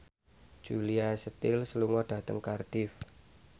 Julia Stiles lunga dhateng Cardiff